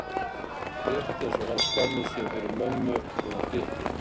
Rétt eins og hann skammaðist sín fyrir mömmu þó hún dytti.